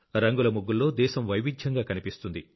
రంగుల ముగ్గుల్లో దేశం వైవిధ్యంగా కనిపిస్తుంది